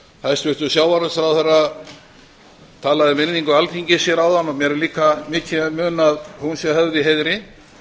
hæstvirtur sjávarútvegsráðherra talaði um virðingu alþingis hér áðan mér er líka mikið í mun að hún sé höfð í heiðri